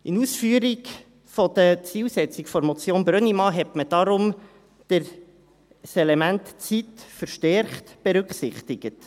In Ausführung der Zielsetzung der Motion Brönnimann hat man darum das Element Zeit verstärkt berücksichtigt.